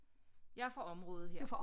Jeg er fra området her